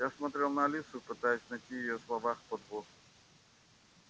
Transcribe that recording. я смотрел на алису пытаясь найти в её словах подвох